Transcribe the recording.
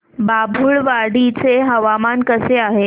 बाभुळवाडी चे हवामान कसे आहे